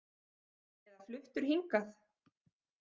Eða fluttur hingað?